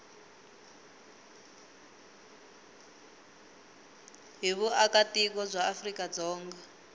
hi vuakatiko bya afrika dzonga